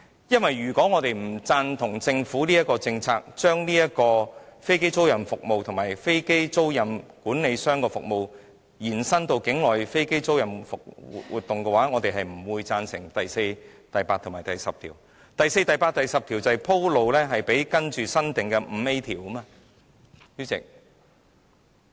因為如果我們不贊同政府的政策，即把飛機租賃服務和飛機租賃管理服務延伸至境內飛機租賃活動，我們便不會贊成第4、8及10條，而第4、8及10條就是為接下來新訂的第 5A 條而鋪路的。